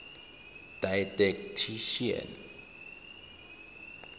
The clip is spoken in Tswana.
didactician